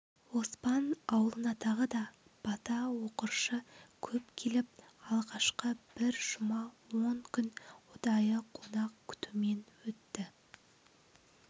оспан аулынатағы да бата оқыршы көп келіп алғашқы бір жұма он күн ұдайы қонақ күтумен өтті